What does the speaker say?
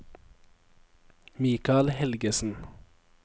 Mikael Helgesen